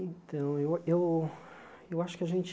Então, eu eu eu acho que a gente...